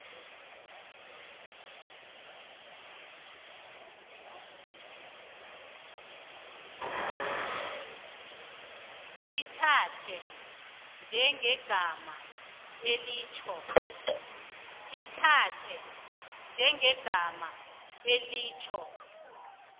lithathwe njengegama elitjho